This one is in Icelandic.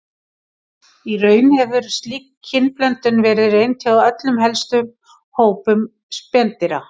Í raun hefur slík kynblöndun verið reynd hjá öllum helstu hópum spendýra.